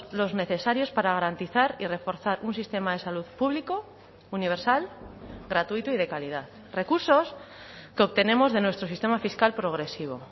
los necesarios para garantizar y reforzar un sistema de salud público universal gratuito y de calidad recursos que obtenemos de nuestro sistema fiscal progresivo